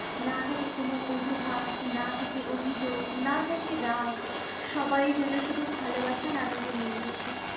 না থাকে কোনো অজুহাত, না থাকে অভিযোগ, না থাকে রাগ সবাই যেন শুধু ভালোবাসার আমেজে নেচে ওঠে।